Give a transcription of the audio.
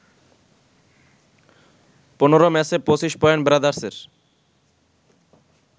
১৫ ম্যাচে ২৫ পয়েন্ট ব্রাদার্সের